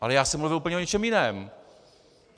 Ale já jsem mluvil úplně o něčem jiném.